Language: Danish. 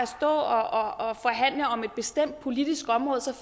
stå og forhandle om et bestemt politisk område og